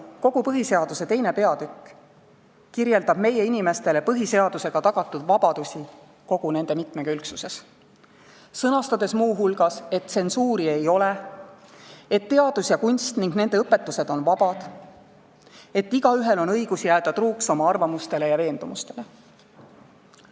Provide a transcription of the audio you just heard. Kogu põhiseaduse II. peatükk kirjeldab meie inimestele põhiseadusega tagatud vabadusi kogu nende mitmekülgsuses, sõnastades muu hulgas, et tsensuuri ei ole, et teadus ja kunst ning nende õpetused on vabad, et igaühel on õigus jääda truuks oma arvamustele ja veendumustele.